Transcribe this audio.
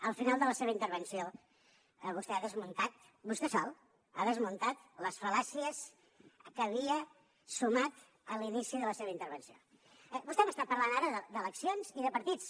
al final de la seva intervenció vostè ha desmuntat vostè sol ha desmuntat les fal·làcies que havia sumat a l’inici de la seva intervenció eh vostè m’està parlant ara d’eleccions i de partits